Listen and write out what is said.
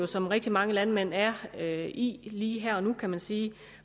som rigtig mange landmænd er er i lige her og nu kan man sige